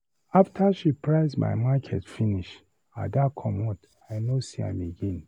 After she price my market finish, Ada comot, I no see am again.